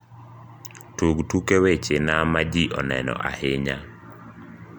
tug tuke weche na ma ji oneno ahinya